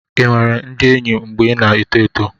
ị nwere ndị enyi mgbe ị na-eto eto?